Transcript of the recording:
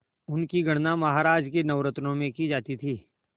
उनकी गणना महाराज के नवरत्नों में की जाती थी